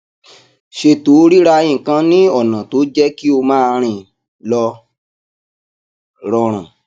ṣètò rírà nǹkan ní ọna tó jé kí o máa rìn lọ rọrùn